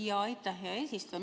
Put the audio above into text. Aitäh, hea eesistuja!